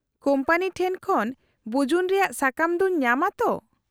-Company ᱴᱷᱮᱱ ᱠᱷᱚᱱ ᱵᱩᱡᱩᱱ ᱨᱮᱭᱟᱜ ᱥᱟᱠᱟᱢ ᱫᱚᱧ ᱧᱟᱢᱼᱟ ᱛᱚ ?